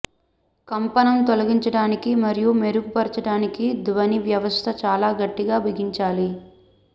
కంపనం తొలగించడానికి మరియు మెరుగుపరచడానికి ధ్వని వ్యవస్థ చాలా గట్టిగా బిగించాలి